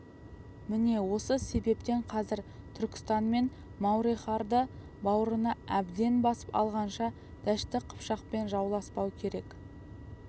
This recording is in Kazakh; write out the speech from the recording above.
міне осы себептен қазір түркістан мен мауреннахрды бауырына әбден басып алғанша дәшті қыпшақпен жауласпау керек